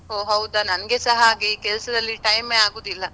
ಹೊ ಹೌದ ನಂಗೆಸ ಹಾಗೆ ಕೆಲ್ಸದಲ್ಲಿ time ಎ ಆಗುದಿಲ್ಲ.